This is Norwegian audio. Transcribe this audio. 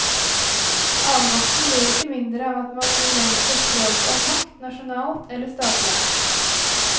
Avmakten blir ikke mindre av at man begrenser spørsmålet om makt nasjonalt eller statlig.